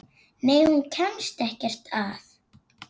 Nei, hún kemst ekkert að.